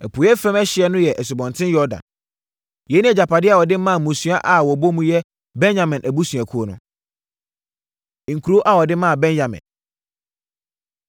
Apueeɛ fam ɛhyeɛ no yɛ Asubɔnten Yordan. Yei ne agyapadeɛ a wɔde maa mmusua a wɔbɔ mu yɛ Benyamin abusuakuo no. Nkuro A Wɔde Maa Benyamin